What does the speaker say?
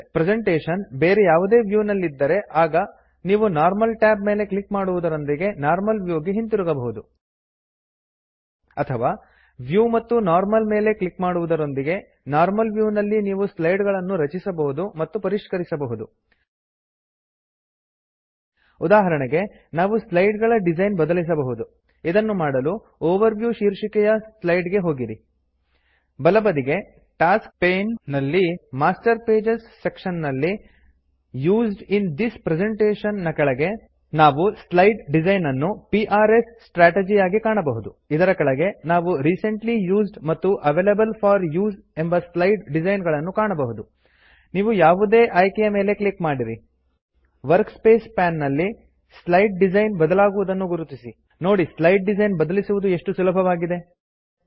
presentation ಬೇರೆ ಯಾವುದೇ view ನಲ್ಲಿದ್ದರೆ ಆಗ ನೀವು ನಾರ್ಮಲ್ ಟ್ಯಾಬ್ ಮೇಲೆ ಕ್ಲಿಕ್ ಮಾಡುವದರೊಂದಿಗೆ ನಾರ್ಮಲ್ ವ್ಯೂ ಗೆ ಹಿಂತಿರುಗಬಹುದು ಅಥವಾ ವ್ಯೂ ಮತ್ತು ನರ್ಮಲ್ ಮೇಲೆ ಕ್ಲಿಕ್ ಮಾಡುವದರೊಂದಿಗೆ ನಾರ್ಮಲ್ ವ್ಯೂ ನಲ್ಲಿ ನೀವು ಸ್ಲೈಡಗಳನ್ನು ರಚಿಸಬಹುದು ಮತ್ತು ಪರಿಷ್ಕರಿಸಬಹುದು ಉದಾಹರಣೆಗೆ ನಾವು ಸ್ಲೈಡ್ ಗಳ ಡಿಸೈನ್ ಬದಲಿಸಬಹುದು ಇದನ್ನು ಮಾಡಲು ಓವರ್ ವ್ಯೂ ಶಿರ್ಷಿಕೆಯ ಸ್ಲೈಡ್ ಗೆ ಹೋಗಿರಿ ಬಲಬದಿಗೆ ಟಾಸ್ಕ್ ಪೈನ್ ನಲ್ಲಿ ಮಾಸ್ಟರ್ ಪೇಜಸ್ ಸೆಕ್ಶನ್ ನಲ್ಲಿ ಯುಸ್ಡ್ ಇನ್ ಥಿಸ್ ಪ್ರೆಸೆಂಟೇಶನ್ ನ ಕೆಳಗೆ ಇದರ ಕೆಳಗೆ ನಾವು ರಿಸೆಂಟ್ಲಿ ಯುಸ್ಡ್ ಮತ್ತು ಅವೈಲೇಬಲ್ ಫೋರ್ ಉಸೆ ಎಂಬ ಸ್ಲೈಡ್ ಡಿಜೈನ್ ಗಳನ್ನು ಕಾಣಬಹುದು ನೀವು ಯಾವುದೇ ಆಯ್ಕೆಯ ಮೇಲೆ ಕ್ಲಿಕ್ ಮಾಡಿರಿ ವರ್ಕಸ್ಪೇಸ್ ಪೇನ್ ನಲ್ಲಿ ಸ್ಲೈಡ್ ಡಿಸೈನ್ ಬದಲಾಗುವುದನ್ನು ಗುರುತಿಸಿರಿ ನೋಡಿ ಸ್ಲೈಡ್ ಡಿಸೈನ್ ಬದಲಿಸುವುದು ಎಷ್ಟು ಸುಲಭವಾಗಿದೆ